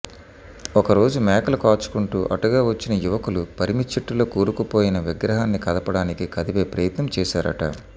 ఒకరోజు మేకలు కాచుకుంటూ అటుగా వచ్చిన యువకులు పరిమిచెట్టులో కూరుకుపోయిన విగ్రహాన్ని కదపడానికి కదిపే ప్రయత్నం చేశారట